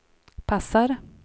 passar